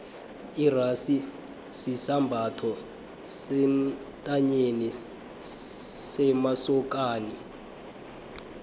irasi sisambatho sentanyeni semasokani